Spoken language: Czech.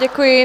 Děkuji.